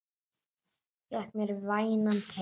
Fékk mér vænan teyg.